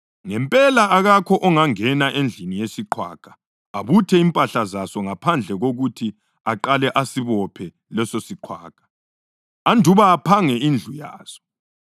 Ngempela, akakho ongangena endlini yesiqhwaga, abuthe impahla zaso ngaphandle kokuthi aqale asibophe lesosiqhwaga, andubana aphange indlu yaso.